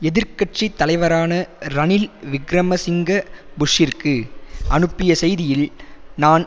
எதிர் கட்சி தலைவரான ரணில் விக்கிரம சிங்க புஷ்ஷிற்கு அனுப்பிய செய்தியில் நான்